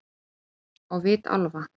Á vit álfa-